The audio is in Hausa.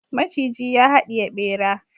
maciji ya hadiye bera